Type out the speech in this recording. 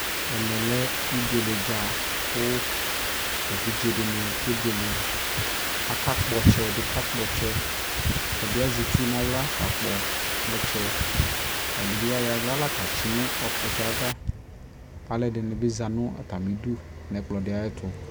ɛmɛ lɛ ɛbʋɛlɛ dza kʋ ɛvidzɛ dini kɛ bʋɛlɛ, aka kpɔ ɔtsɛ, ɛdi ka kpɔ ɔtsɛ ɛdi azɛ itsʋ nʋ ala ka kpɔ ɔtsɛ kʋ ɛdibi ayɔ ala la katsi nʋ ɔtsɛ aɣa, kʋ alʋɛdini bi zanʋ atami ʋdʋ nʋ ɔtsɛ tʋ